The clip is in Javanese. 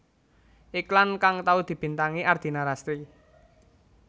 Iklan kang tau dibintangi Ardina Rasti